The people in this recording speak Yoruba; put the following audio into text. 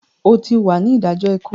O tí wà ní idajọ ikú!